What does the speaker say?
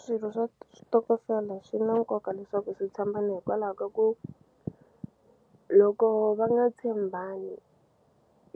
Swirho swa xitokofela swi na nkoka leswaku swi tshembana hikwalaha ka ku loko va nga tshembani